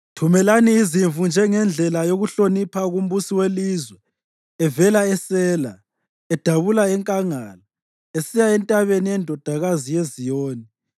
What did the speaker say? Thumelani izimvu njengendlela yokuhlonipha kumbusi welizwe evela eSela, edabula enkangala, esiya entabeni yeNdodakazi yeZiyoni.